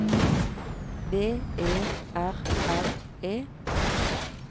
V E R R E